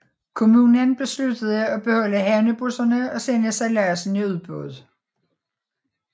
Kommunen besluttede at beholde havnebusserne og sende sejladsen i udbud